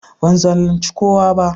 Ban zalunci kowa ba.